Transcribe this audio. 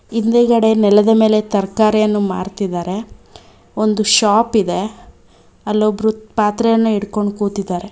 ಹಿಂದೆಗಡೆ ನೆಲದ ಮೇಲೆ ತರಕಾರಿಯನ್ನು ಮಾರ್ತಿದಾರೆ ಒಂದು ಶಾಪ್ ಇದೆ ಅಲ್ಲಿ ಒಬ್ಬರು ಪಾತ್ರೆಯನ್ನು ಇಡ್ಕೊಂಡು ಕೂತಿದ್ದಾರೆ.